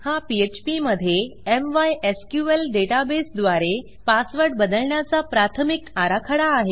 हा पीएचपी मधे MySQL m y s q L databaseद्वारे पासवर्ड बदलण्याचा प्राथमिक आराखडा आहे